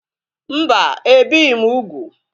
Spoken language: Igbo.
Mba, ebighị m úgwù